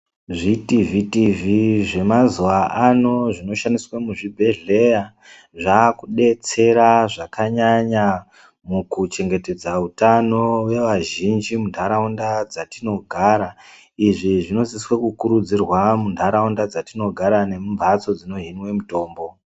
Zvitivhitivhi zvemazuwa ano zvinoshandiswa muzvibhedhleya zvaakudetsera zvakanyanya mukuchengetedza utano wevazhinji muntaraunda dzatinogara, izvi zvinosisa kukurudzirwa muntaraunda dzatinogara nemumphatso dzinohinwe mutombo.